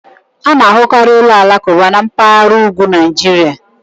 A na-ahụkarị ụlọ alakụba na mpaghara ugwu Naịjirịa